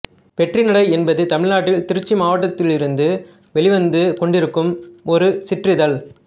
வெற்றிநடை என்பது தமிழ்நாட்டில் திருச்சி மாவட்டத்திலிருந்து வெளிவந்து கொண்டிருக்கும் ஒரு சிற்றிதழ்